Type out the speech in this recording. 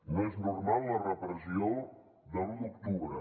no és normal la repressió de l’u d’octubre